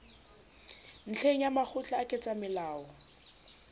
ntlheng ya makgotla a ketsamolao